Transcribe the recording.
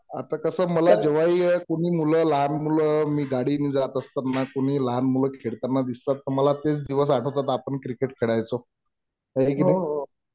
आता कसं मला जेव्हाही कोणी मुलं लहान मुलं मी गाडी ने जात असताना कुणी लहान मुलं खेळताना दिसतात पण मला तेच दिवस आठवतात आपण क्रिकेट खेळायचो हे की नई